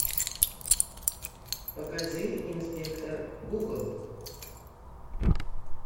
покажи инспектор гугл